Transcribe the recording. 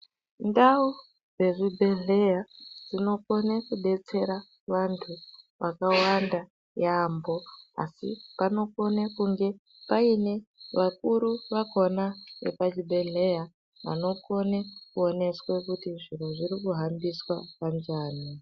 Ndau dzezvibhedhleya dzinokone kudetsera vantu vakawanda yaampho, asi panokone kunge paine vakuru vakhona vepachibhedhleya, vanokone kuoneswa kuti zviro zviri kuhambiswa kanjani.